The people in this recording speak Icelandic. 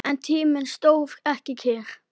En tíminn stóð ekki kyrr.